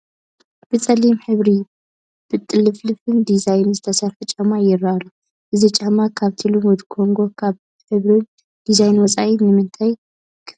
ብፀሊም ሕብሪ፣ ብጥልፍልፍ ዲዛይን ዝተሰርሐ ጫማ ይርአ ኣሎ፡፡ እዚ ጫማ ካብቲ ልሙድ ኮንጐ ካብ ብሕብርን ዲዛይንን ወፃኢ ብምንታይ ክፍለ ይኽእል?